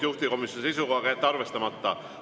Juhtivkomisjoni seisukoht on jätta arvestamata.